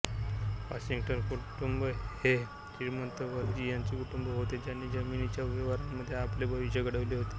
Washington कुटुंब हे एक श्रीमंत व्हर्जिनिया कुटुंब होते ज्यांनी जमिनीच्या व्यवहारांमध्ये आपले भविष्य घडविले होते